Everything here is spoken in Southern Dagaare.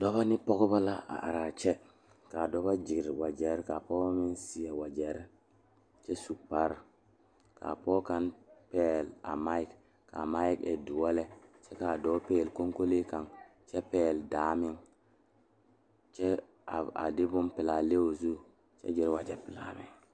Pɔgeba are ka bamine zeŋ ka gangaare biŋ kaŋa zaa toɔ puli kyɛ ka ba zage ba nuure kaa do saa kyɛ ka ba gbɛɛ meŋ gaa wagye pelaa.